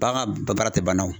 Bagan ka baara tɛ ban